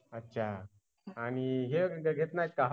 अच्छा आणि हे घेत नाही का?